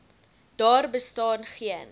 daar bestaan geen